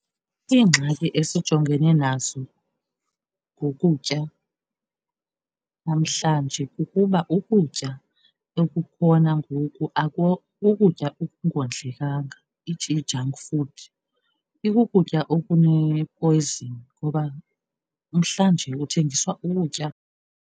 Iingxaki esijongene nazo ngokutya namhlanje kukuba ukutya okukhona ngoku kukutya okungondlekanga i-junk food ikukutya okunepoyizini ngoba namhlanje kuthengisa ukutya.